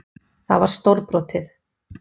Það var stórbrotið.